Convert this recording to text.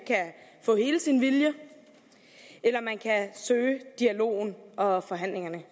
helt sin vilje eller man kan søge dialogen og forhandlingerne